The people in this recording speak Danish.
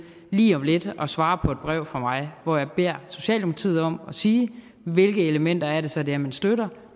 lige om lidt at svare på et brev fra mig hvor jeg beder socialdemokratiet om at sige hvilke elementer det så er man støtter